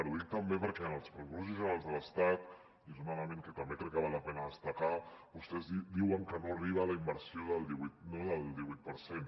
ho dic també perquè en els pressupostos generals de l’estat i és un element que també crec que val la pena destacar vostès diuen que no arriba la inversió al divuit per cent